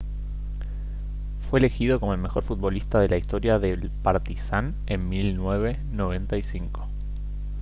fue elegido como el mejor futbolista de la historia del partizan en 1995